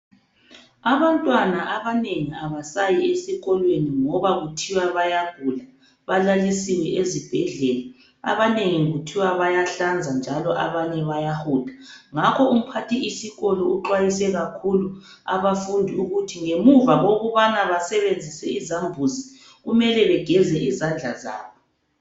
Abantwana abanengi abasayi esikolweni ngoba kuthiwa bayagula. Balalisiwe ezibhedlela abanengi kuthiwa bayahlanza njalo abanye bayahuda. Ngakho umphathi isikolo uxwayise kakhulu abafundi ukuthi ngemuva kokubana basebenzise izambuzi kumele bageze izandla zabo.